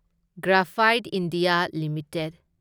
graphite India limited